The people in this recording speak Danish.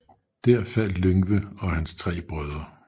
Der faldt Lyngve og hans tre brødre